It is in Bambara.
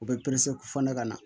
U bɛ fɔ ne ka na